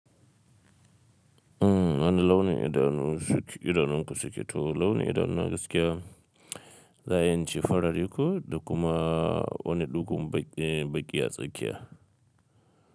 Wani launin idanu, idanun ka suke? To launin idanu na gaskiya, za a iya in ce farare ko da kuma. Wani ɗugon baƙi, baƙi a tsakiya.